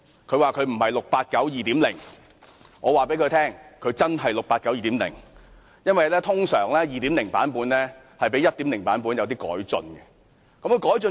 她說她不是 "689 2.0"， 我告訴她，她真的是 "689 2.0"， 因為通常 2.0 版本都較 1.0 版本有些改進。